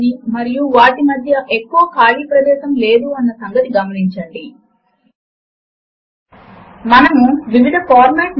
ఈ విండో మనకు వివిధ గణిత చిహ్నములను మరియు సమీకరణములను అందచేస్తుంది